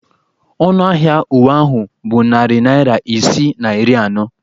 Ọnụ ahịa uwe ahụ bụ narị naira isii na iri anọ.